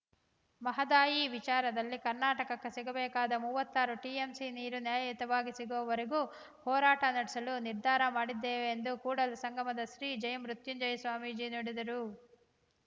ಮಹದಾಯಿ ವಿಚಾರದಲ್ಲಿ ಕರ್ನಾಟಕಕ್ಕೆ ಸಿಗಬೇಕಾದ ಮೂವತ್ತಾರು ಟಿಎಂಸಿ ನೀರು ನ್ಯಾಯಯುತವಾಗಿ ಸಿಗುವವರೆಗೂ ಹೋರಾಟ ನಡೆಸಲು ನಿರ್ಧಾರ ಮಾಡಿದ್ದೇವೆ ಎಂದು ಕೂಡಲ ಸಂಗಮದ ಶ್ರೀ ಜಯ ಮೃತ್ಯುಂಜಯ ಸ್ವಾಮೀಜಿ ನುಡಿದರು